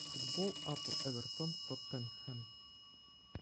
футбол апл эвертон тоттенхэм